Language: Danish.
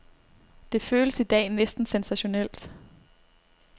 Det føles i dag næsten sensationelt.